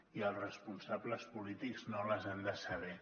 i els responsables polítics no les han de saber